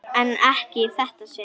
En ekki í þetta sinn.